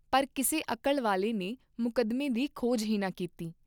ਪਰ ਕਿਸੇ ਅਕਲ ਵਾਲੇ ਨੇ ਮੁਕੱਦਮੇ ਦੀ ਖੋਜ ਹੀ ਨਾ ਕੀਤੀ।